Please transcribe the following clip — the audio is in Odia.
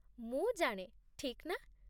ମୁଁ ଜାଣେ, ଠିକ୍ ନା?